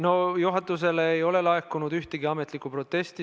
No juhatusele ei ole laekunud ühtegi ametlikku protesti.